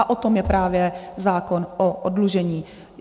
A o tom je právě zákon o oddlužení.